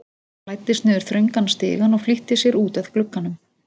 Hann læddist niður þröngan stigann og flýtti sér út að glugganum.